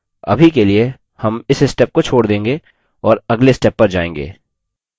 अभी के लिए हम इस step को छोड़ देगें और अगले step पर जायेंगे